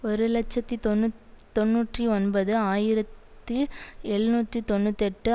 ஒரு இலட்சத்தி தொன்னூதொன்னூற்றி ஒன்பது ஆயிரத்தி எழுநூற்றி தொன்னூற்றி எட்டு